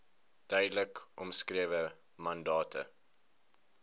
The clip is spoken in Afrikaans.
duidelik omskrewe mandate